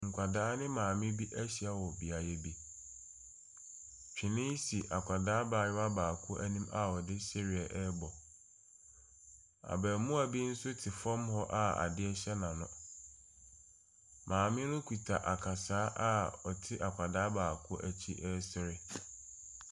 Nkwadaa ne maame bi ahyia wɔ beaeɛ bi. Twene si akwadaa abayewa baako anim a ɔde sereɛ rebɔ. Abaamua bi nso te fam hɔ a adeɛ hyɛ n'ano. Maame no kuta akasaa a ɔte akwadaa baako akyi resere.